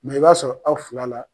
Mɛ i b'a sɔrɔ aw fila la